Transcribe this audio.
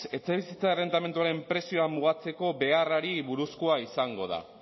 etxebizitza errentamenduaren prezioa mugatzeko beharrari buruzkoa izango da